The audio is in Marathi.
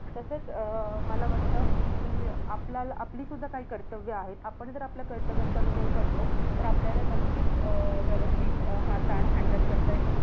तसंच मला वाटतं कि आपल्याला आपली सुद्धा काही कर्तव्ये आहेत. आपणच जर आपल्या कर्तव्यात कमी नाही पडलो, तर आपल्याला नक्कीच अं व्यवस्थित अं हा ताण handle करता